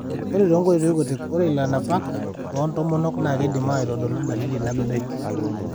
Ore toonkoitoi kutik ,ore ilanapak loontomonok naa keidim aitodolu dalili nabebek.